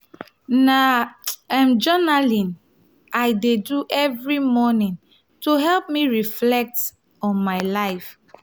na um journaling i dey do every morning to help me reflect on my life.